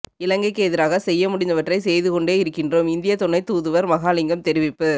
இலங்கைக்கு எதிராக செய்ய முடிந்தவற்றை செய்து கொண்டே இருக்கின்றோம் இந்தியத் துணைத் தூதுவர் மகாலிங்கம் தெரிவிப்பு